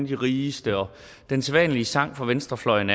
de rigeste og den sædvanlige sang fra venstrefløjen